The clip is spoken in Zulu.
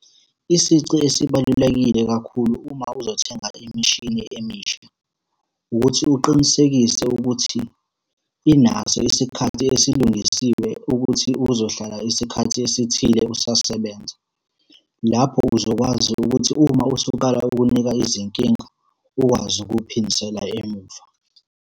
Isici esibalulekile kakhulu uma uzothenga imishini emisha, ukuthi uqinisekise ukuthi inaso isikhathi esilungisiwe ukuthi uzohlala isikhathi esithile usasebenza. Lapho uzokwazi ukuthi uma usuqala ukunika izinkinga, ukwazi ukuphindisela emuva.